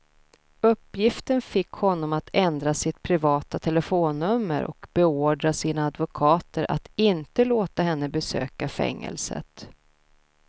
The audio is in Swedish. Uppgiften fick honom att ändra sitt privata telefonnummer och beordra sina advokater att inte låta henne besöka fängelset.